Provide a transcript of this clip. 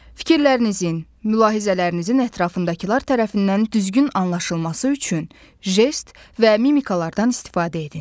Fikirlərinizin, mülahizələrinizin ətrafındakılar tərəfindən düzgün anlaşılması üçün jest və mimikalardan istifadə edin.